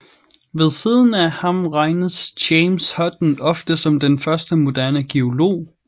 Ved siden af ham regnes James Hutton ofte som den første moderne geolog